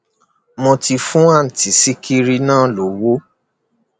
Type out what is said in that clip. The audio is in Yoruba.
mo ti fún àǹtí sìkìrì náà lọwọ